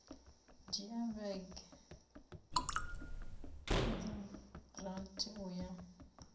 dzhia vhege dza rathi uya